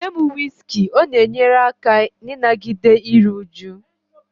Nye m whiskey, ọ na-enyere aka n'ịnagide iru újú